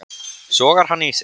Sogar hann í sig.